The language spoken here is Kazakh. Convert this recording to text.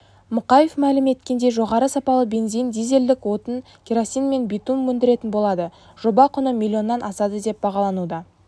мұқаев мәлім еткендей жоғары сапалы бензин дизелдік отын керосин мен битум өндіретін болады жоба құны млн-нан асады деп бағалануда